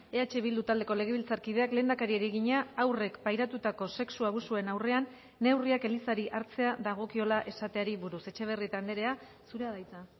eh bildu taldeko legebiltzarkideak lehendakariari egina haurrek pairatutako sexu abusuen aurrean neurriak elizari hartzea dagokiola esateari buruz etxebarrieta andrea zurea da hitza